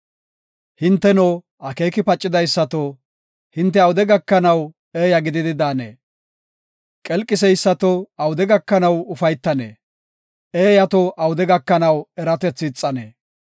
“Hinteno, akeeki pacidaysato, hinte awude gakanaw eeya gididi daanee? Qelqiseysato, awude gakanaw ufaytanee? Eeyato, awude gakanaw eratethi ixanee?